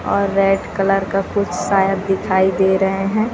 और red colour का कुछ शायद दिखाई दे रहे हैं।